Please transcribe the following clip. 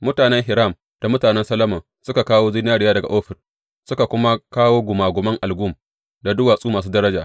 Mutanen Hiram da mutanen Solomon suka kawo zinariya daga Ofir, suka kuma kawo gungumen algum da duwatsu masu daraja.